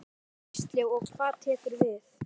Gísli: Og hvað tekur við?